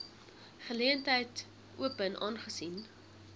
geleentheid open aangesien